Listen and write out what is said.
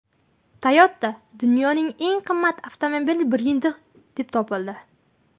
Toyota dunyoning eng qimmat avtomobil brendi deb topildi.